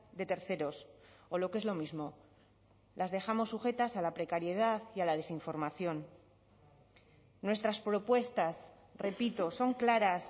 de terceros o lo que es lo mismo las dejamos sujetas a la precariedad y a la desinformación nuestras propuestas repito son claras